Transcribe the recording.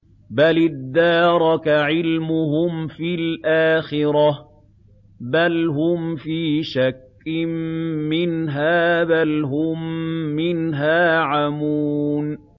بَلِ ادَّارَكَ عِلْمُهُمْ فِي الْآخِرَةِ ۚ بَلْ هُمْ فِي شَكٍّ مِّنْهَا ۖ بَلْ هُم مِّنْهَا عَمُونَ